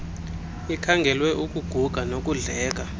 ikhangelwe ukuguga nokudleka